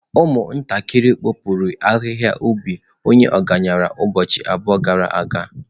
Ụmụntakịrị kụpụrụ ahihia ubi onye ọgaranya ubọchi abụọ gara aga.